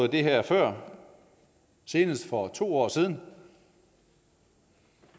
det her før senest for to år siden